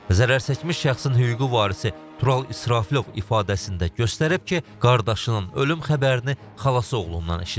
Zərərçəkmiş şəxsin hüquqi varisi Tural İsrafilov ifadəsində göstərib ki, qardaşının ölüm xəbərini xalası oğlundan eşidib.